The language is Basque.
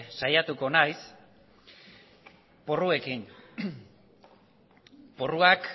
saiatuko naiz porruekin porruak